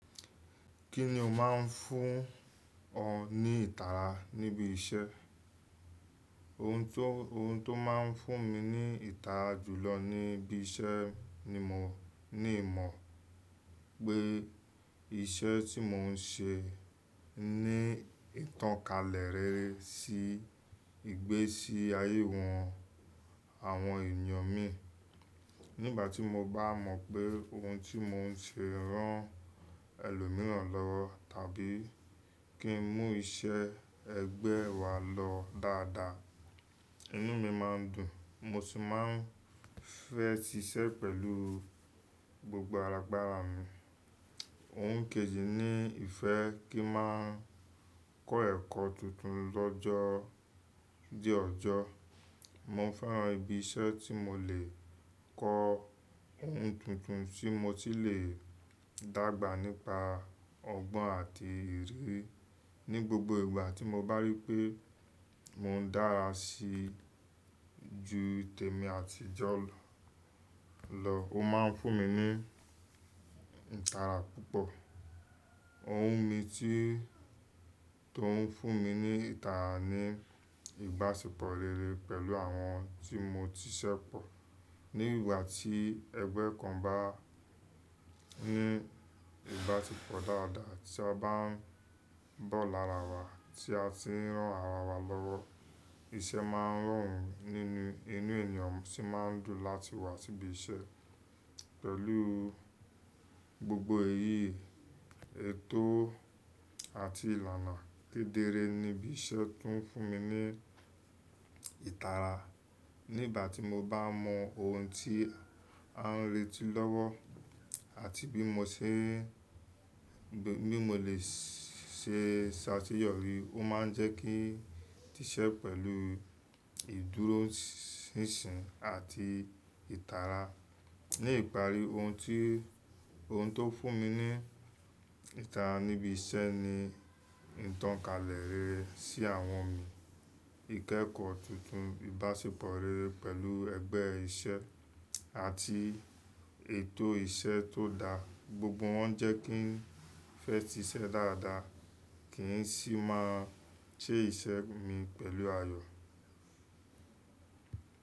Kí ni o máa ń fún ọ ní ìtara níbi iṣẹ́? Ohun tó máa ń fún mi ní ìtara jùlọ níbi iṣẹ́ ni mò ní ìmọ̀ pé iṣẹ́ tí mò ń ṣe ní ìtánkalẹ̀ rere sí ìgbésí ayé wọn- àwọn èèyàn mi. Nígbà tí mo bá mọ̀ pé ohun tí mò ń ṣe ran ẹlòmíràn lọ́wọ́ tàbí kí n mú iṣẹ́ ẹgbẹ́ wa lọ dáadáa, inú mi máa ń dùn mo sì máa ń fẹ́ ṣíṣẹ́ pẹ̀lú gbogbo agbára mi. Ohun kejì ni ìfẹ́ kí n máa kọ́ ẹ̀kọ́ tuntun l'ọ́jọ́ dí ọjọ́. Mo fẹ́ran ibi iṣẹ́ tí mo lè kọ́ ohun tuntun tí mo tún lè dágbà nípa ọgbọ́n àti ìrírí Ní gbogbo ìgbà tí mo bá rí i pé mò ń dára sí ju tèmi àtijọ́ lọ, o máa ń fún mi ní ìtara púpọ̀. Ohun mi tí tó ń fún mi ní ìtara ni ìbáṣepọ̀ rere pẹ̀lú àwọn tí mo ti ṣépọ̀. Ní ìgbà tí ẹgbẹ́ kan bá ní ìbáṣepọ̀ dáadáa tí a bá ń bọ̀ lára wa tí a sì ń rán ara wa lọ́wọ́, iṣẹ́ máa ń rọrùn nínú, inú ènìyàn sì máa ń dùn láti wá sí ibi iṣẹ́. Pẹ̀lú gbogbo èyí, ètò àti ìlànà kedere ní ibi iṣẹ́ tún ń fún mi ní ìtara. Nígbà tí mo bá mọ ohun tí a ń retí lọ́wọ́ àti bi mo ṣe n, bí mo lè ṣe ṣ'àṣeyọ́rí, o máa ń jẹ́ kí n ṣiṣẹ́ pẹ̀lú ìdúróṣinṣin àti ìtara. Ní ìparí, ohun tó fún mi ní ìtara níbi iṣẹ́ ni ìtọ́kalẹ̀ rere sí àwọn mi, ìkẹ́kọ̀ọ́ tuntun, ìbáṣepọ̀ rere pẹ̀lú ẹgbẹ́ iṣẹ́ àti ètò iṣẹ́ tó dáa. Gbogbo wọ́n jẹ́ kí n fẹ́ ṣíṣẹ́ dáadáa kì í sì máa ṣe iṣẹ́ mi pẹ̀lú ayọ̀.